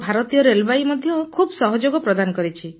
ଆଉ ଭାରତୀୟ ରେଳବାଇ ମଧ୍ୟ ଖୁବ ସହଯୋଗ ପ୍ରଦାନ କରିଛି